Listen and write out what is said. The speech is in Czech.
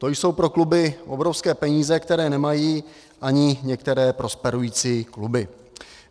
To jsou pro kluby obrovské peníze, které nemají ani některé prosperující kluby.